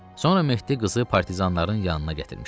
Sonra Mehdi qızı partizanların yanına gətirmişdi.